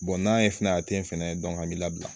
n'an ye fɛnɛ a te fɛnɛ an b'i labila